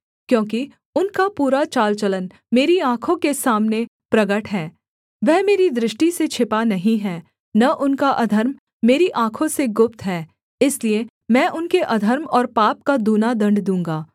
क्योंकि उनका पूरा चालचलन मेरी आँखों के सामने प्रगट है वह मेरी दृष्टि से छिपा नहीं है न उनका अधर्म मेरी आँखों से गुप्त है इसलिए मैं उनके अधर्म और पाप का दूना दण्ड दूँगा